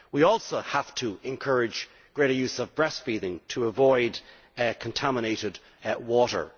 We also have to encourage greater use of breastfeeding to avoid contaminated water